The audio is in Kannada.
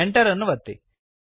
Enter ಅನ್ನು ಒತ್ತಿರಿ